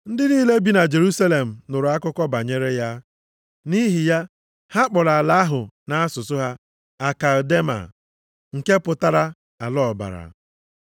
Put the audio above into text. Ndị niile bi na Jerusalem nụrụ akụkọ banyere ya. Nʼihi ya, ha kpọrọ ala ahụ nʼasụsụ ha Akeldama, nke pụtara Ala Ọbara.